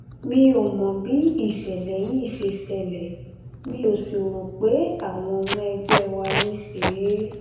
mi ò mọ bí ìṣẹlẹ yìí ṣe ṣẹlẹ mi ò sì rò pé àwọn ọmọ ẹgbẹ wa ló ṣe é